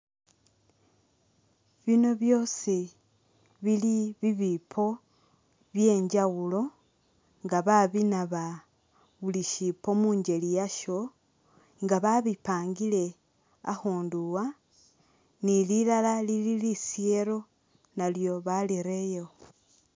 Biino byosi bili bibiipo byenjawulo nga babinaaba buli ushiipo mungeli iyasho nga babipangile akhundu wa ne lilala lili lisheero nalyo barirerewo.